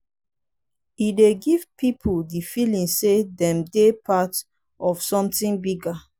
e dey give pipo di feeling sey dem dey part of something bigger